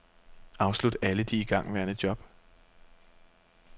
Afslut alle de igangværende job.